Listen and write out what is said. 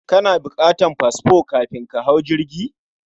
Kana bukan fasfo kafin ka hau jirgi?